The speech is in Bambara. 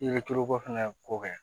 I bɛ tulu ko fɛnɛ k'o kɛ